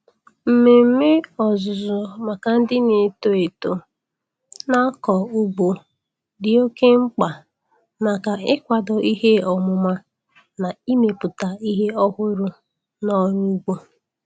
Mmemme ọzụzụ maka ndị na-eto eto na-akọ ugbo dị oke mkpa maka ịkwado ihe ọmụma na imepụta ihe ọhụrụ n'ọrụ ugbo.